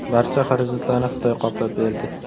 Barcha xarajatlarni Xitoy qoplab berdi.